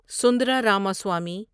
Sundara Ramaswamy